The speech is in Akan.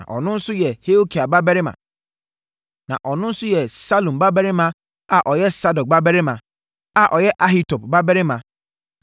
na ɔno nso yɛ Salum babarima a ɔyɛ Sadok babarima a ɔyɛ Ahitub babarima